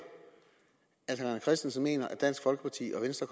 at herre rené christensen mener at dansk folkeparti og venstre